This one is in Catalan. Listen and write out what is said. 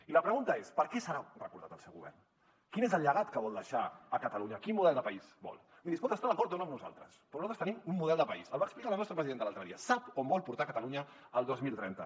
i la pregunta és per què serà recordat el seu govern quin és el llegat que vol deixar a catalunya quin model de país vol miri es pot estar d’acord o no amb nosaltres però nosaltres tenim un model de país el va explicar la nostra presidenta l’altre dia sap on vol portar catalunya el dos mil trenta